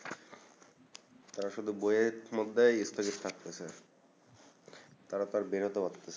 তারা শুধু বইয়ের মধ্যেই পড়ে থাকতাসে তারা তো আর বেরতে পারতেসেনা